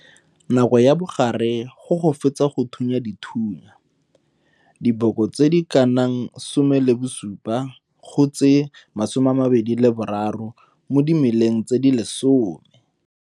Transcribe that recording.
Nako ya bogare go go fetsa go thunya dithunya diboko tse di ka nang 17 go tse 23 mo dimeleng tse di lesome.